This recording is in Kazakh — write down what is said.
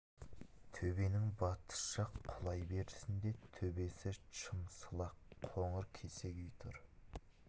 төбенің батыс жақ құлай берісінде төбесі шым сылақ қоңыр кесек үй тұр